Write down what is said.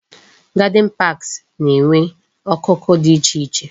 Garden parks na-enwe okoko dị iche iche